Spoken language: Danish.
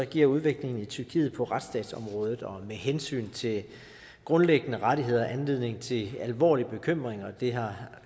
giver udviklingen i tyrkiet på retsstatsområdet og med hensyn til grundlæggende rettigheder anledning til alvorlig bekymring og det har